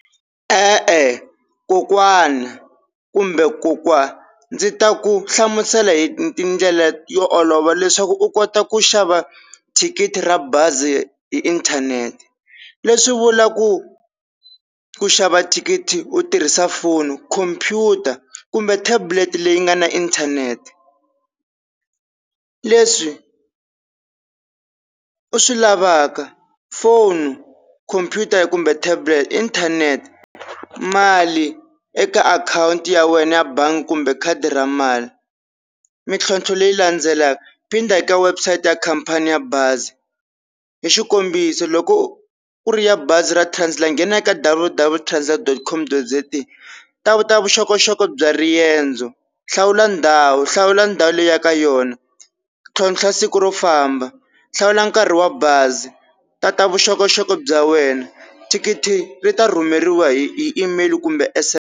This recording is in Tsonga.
E-e kokwana kumbe kokwa ndzi ta ku hlamusela hi tindlela yo olova leswaku u kota ku xava thikithi ra bazi hi inthanete, leswi vulaku ku xava thikithi u tirhisa foni, computer, kumbe tablet leyi nga na inthanete leswi u swi lavaka phone, computer, kumbe tablet inthanete mali eka akhawunti ya wena ya bangi kumbe khadi ra mali mintlhontlho leyi landzelaka phinda eka website ya khampani ya bazi hi xikombiso, loko ku ri ya bazi ra Translux nghena eka W W dot translux dot com dot Z A ta vu ta vuxokoxoko bya riendzo hlawula ndhawu hlawula ndhawu leyi u yaka ka yona, ntlhontlha siku ro famba, hlawula nkarhi wa bazi, tata vuxokoxoko bya wena, thikithi ri ta rhumeriwa hi email kumbe S_M_S.